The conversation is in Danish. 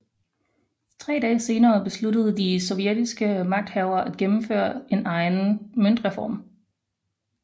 Tre dage senere besluttede de sovjetiske magthavere at gennemføre en egen møntreform